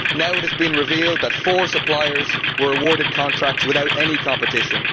Now it has been revealed that four suppliers were awarded contracts without any competition.